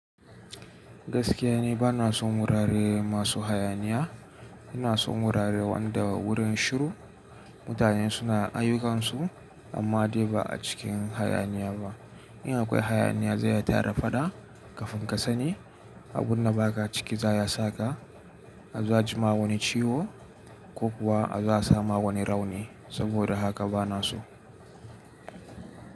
Gaskiya ni bana son wurare masu hayaniya. Ina son wurare wanda wurin shiru mutane suna ayyukansu amma dai ba a cikin hayaniya ba. In akwai hayaniya zai iya tara faɗa, kafin ka sani abunda ba ka a ciki za'a iya sa ka a zo a ji ma wani ciwo ko kuwa a zo a sama wani rauni. Saboda haka bana so.